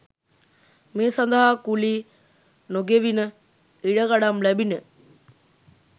මේ සඳහා කුලී නොගෙවිණ, ඉඩකඩම් ලැබිණි.